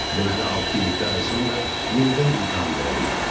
Deməli, altı-yeddi ay sonra yenidən imtahan verə bilərdim.